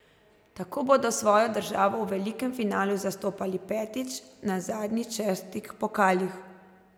Tako bodo svojo državo v velikem finalu zastopali petič na zadnjič šestih pokalih.